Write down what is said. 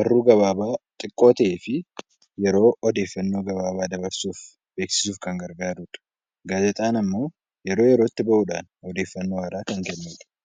barruu gabaabaa xiqqoo ta'ee fi yeroo odeeffannoo gabaabaa dabarsuuf beeksisuuf kan gargaarudha. Gaazexaan immoo yeroo yerootti bahuudhaan odeeffannoo haaraa kan kennudha.